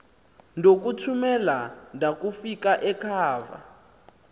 ndokuthumela ndakufika ekhava